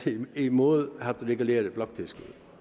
imod at få reguleret bloktilskuddet